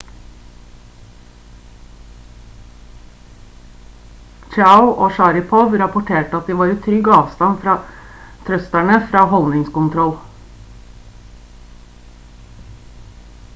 chiao og sharipov rapporterte at de var i trygg avstand fra thrusterne for holdningskontroll